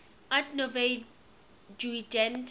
art nouveau jugend